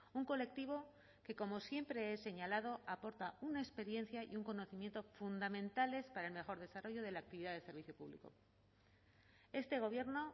un colectivo que como siempre he señalado aporta una experiencia y un conocimiento fundamentales para el mejor desarrollo de la actividad del servicio público este gobierno